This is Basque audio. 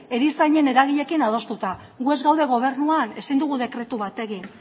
erizainen eragileekin adostuta gu ez gaude gobernuan ezin dugu dekretu bat egin